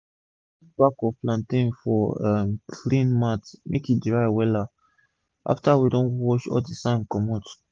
i dey soak all dmango wey i don plug inside small salt wata make all d pest die before i dry am for sun